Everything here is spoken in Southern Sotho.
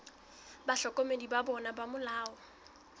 bahlokomedi ba bona ba molao